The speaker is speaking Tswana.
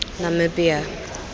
namibia